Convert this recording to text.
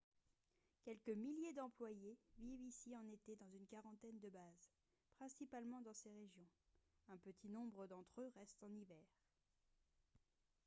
quelques milliers d'employés vivent ici en été dans une quarantaine de bases principalement dans ces régions un petit nombre d'entre eux restent en hiver